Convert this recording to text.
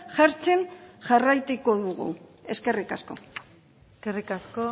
jartzen jarraituko dugu eskerrik asko eskerrik asko